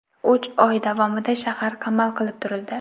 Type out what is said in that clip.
Uch oy davomida shahar qamal qilib turildi.